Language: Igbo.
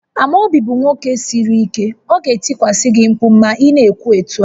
Amobi bụ nwoke siri ike, ọ ga-etikwasị gị mkpu ma ị na-ekwu otu a